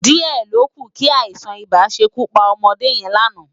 Di è lókú ki áisán-ibá ṣé kú pá òmòdé yèn láná